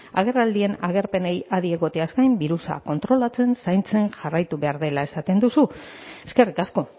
agerraldien agerpenei adi egoteaz gain birusa kontrolatzen zaintzen jarraitu behar dela esaten duzu eskerrik asko